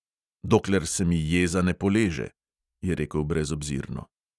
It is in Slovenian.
"Dokler se mi jeza ne poleže," je rekel brezobzirno.